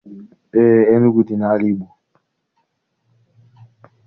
Eé, Enugu dị n'ala Igbo.